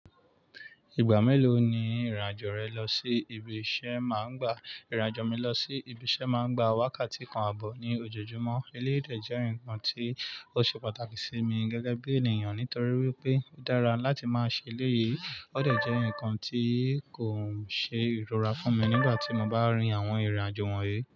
Ìgbà mélòó ni ìrìn-àjò rẹ lọ sí ibi iṣẹ́ ń máa ń gba? Ìrìn-àjò mi lọ sí ibi iṣẹ́ máa ń gba wákàtí kan àbọ̀ ní ojoojúmọ́. Ilé ìdè jẹ́ nǹkan tí ó ṣe pàtàkì sí mi gẹ́gẹ́ bí ènìyàn nítorí wípé ó dára láti máa ṣe ilé yìí. Ó dàjẹ́ ǹkan tí kò ṣe ìrora fún mi nígbà tí mo bá rin àwọn ìrìn-àjò wọ̀nyí.